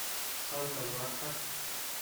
санта марта